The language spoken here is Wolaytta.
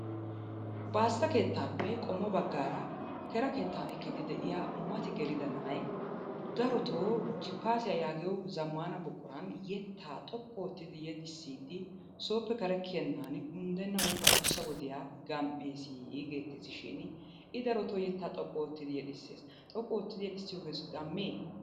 Baassa keettaappe qommo baggaara kera keettaa ekkidi de'iya mati gelida na'ay darotoo jippaasiya yaagiyo zammaana buquran yettaa xoqqu oottidi yexissiiddi sooppe kare kiyennaani unddenna woykko adussa gam"eesii geetetteesi shiini I darotoo yettaa xoqqu oottidi yexissees. Xoqqu oottidi yexissiyogee gammee?